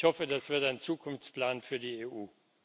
Ich hoffe, das wird ein Zukunftsplan für die EU.